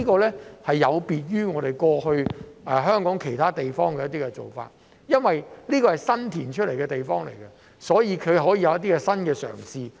這有別於香港其他地方過去的一些做法，因為這是新填海得來的地方，所以可以有一些新的嘗試。